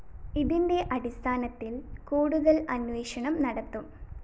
ഇതിന്റെ അടിസ്ഥാനത്തില്‍ കൂടുതല്‍ അന്വേഷണം നടത്തും